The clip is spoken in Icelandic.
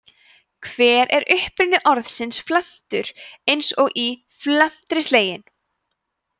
hver er uppruni orðsins felmtur eins og í „felmtri sleginn“